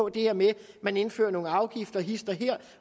det her med at man indfører nogle afgifter hist og her